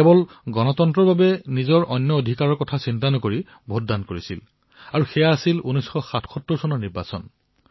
জনতাই গণতন্ত্ৰৰ বাবে নিজৰ অধিকাৰ আৱশ্যকতাসমূহক গুৰুত্ব প্ৰদান নকৰি কেৱল গণতন্ত্ৰৰ বাবে ভোট দান কৰা নাই এই দেশত ৭৭ চনত সেয়া হৈছিল